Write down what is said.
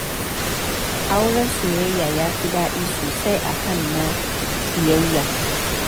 Auren soyayya ya fi daɗi sosai a kan na ƙiyayya